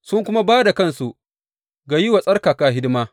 Sun kuma ba da kansu ga yi wa tsarkaka hidima.